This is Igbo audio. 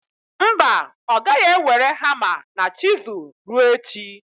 Mba, ọ gaghị ewere hama na chizul ruo echi.